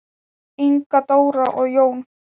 Inga Dóra og Jón.